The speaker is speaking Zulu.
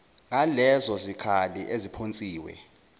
ngalezo zikhali eziphonsiwe